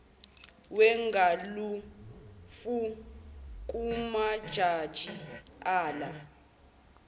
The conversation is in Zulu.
wegalofu kumajaji ala